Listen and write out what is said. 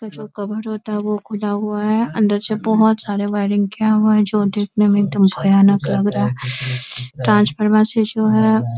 जो कब्ज होता है वो खुला हुआ है | अंदर से बहुत सारे वायरिंग किया हुआ है जो देखने में एक दम भयानक लग रहा है | ट्रांसफार्मर से जो है --